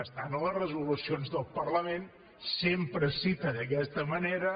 està en les resolucions del parlament sempre es cita d’aquesta manera